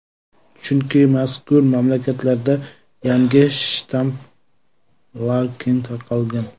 Chunki mazkur mamlakatlarda yangi shtammlar keng tarqalgan.